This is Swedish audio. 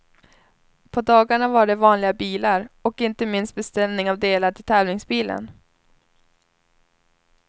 På dagarna var det vanliga bilar och inte minst beställning av delar till tävlingsbilen.